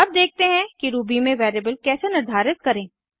अब देखते हैं कि रूबी में वेरिएबल कैसे निर्धारित करें